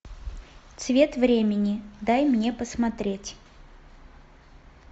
цвет времени дай мне посмотреть